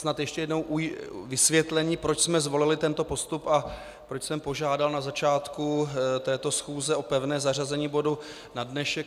Snad ještě jednou vysvětlení, proč jsme zvolili tento postup a proč jsem požádal na začátku této schůze o pevné zařazení bodu na dnešek.